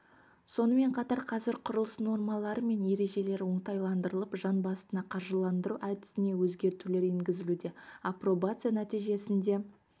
сонымен қатар қазір құрылыс нормалары мен ережелері оңтайландырылып жан басына қаржыландыру әдісіне өзгертулер енгізілуде апробация нәтижесінде